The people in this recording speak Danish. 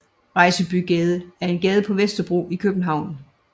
Rejsbygade er en gade på Vesterbro i København